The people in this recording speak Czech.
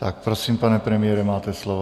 Tak prosím, pane premiére, máte slovo.